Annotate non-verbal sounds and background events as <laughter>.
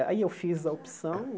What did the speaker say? Aí eu fiz a opção <coughs>